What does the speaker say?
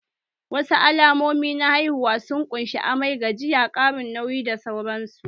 Wasu alamomi na haihuwa sun ƙunshi:- amai, gajiya, ƙarin nauyi da sauran su